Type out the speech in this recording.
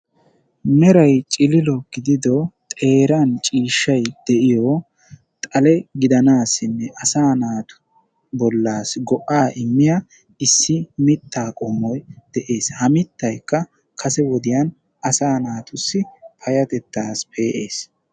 Meeray cililo gidido xeeran ciishshay de'iyo xalee gidanassine asa naatusi go'a immiya issi mitta qommoy de'ees. Ha mittaykka kase wodiyan payatettasi pe'ees.